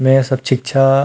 --मेर सब छींक छा --